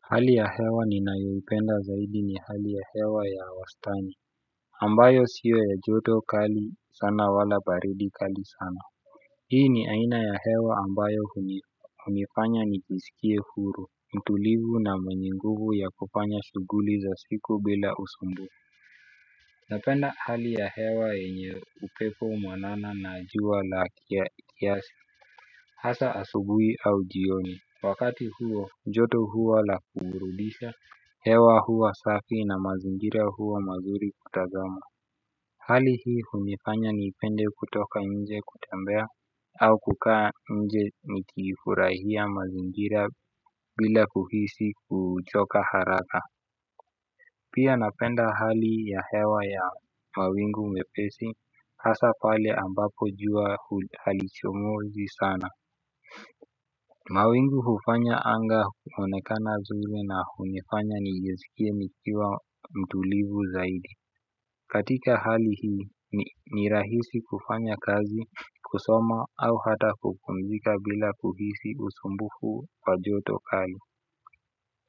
Hali ya hewa ninayoipenda zaidi ni hali ya hewa ya wastani ambayo sio ya joto kali sana wala baridi kali sana, hii ni aina ya hewa ambayo hunifanya nijisikie huru mtulivu na mwenye nguvu ya kufanya shughuli za siku bila usumbufu. Napenda hali ya hewa yenye upepo mwanana na jua la kiasi. Hasa asubuhi au jioni, wakati huo joto huwa la kuburudisha, hewa huwa safi na mazingira huwa mazuri kutazama. Hali hii hunifanya nipende kutoka nje kutembea au kukaa nje nikifurahia mazingira bila kuhisi kuchoka haraka. Pia napenda hali ya hewa ya mawingu mepesi hasa pale ambapo jua hali chomozi sana. Mawingu hufanya anga kuonekana zuri na hunifanya nijisikie nikiwa mtulivu zaidi. Katika hali hii, ni rahisi kufanya kazi, kusoma au hata kupumzika bila kuhisi usumbufu wa joto kali.